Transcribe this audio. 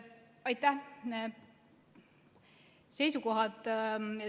Aitäh!